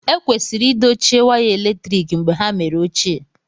Ekwesịrị idochie waya eletrik mgbe ha mere ochie